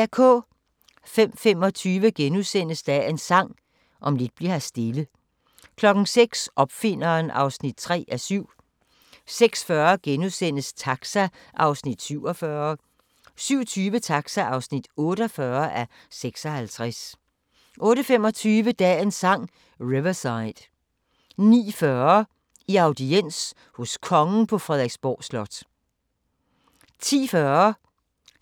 05:25: Dagens Sang: Om lidt bli'r her stille * 06:00: Opfinderen (3:7) 06:40: Taxa (47:56)* 07:20: Taxa (48:56) 08:25: Dagens Sang: Riverside 09:40: I audiens hos Kongen på Frederiksborg Slot 10:40: